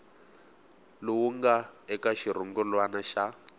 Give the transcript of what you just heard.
lowu nga eka xirungulwana xa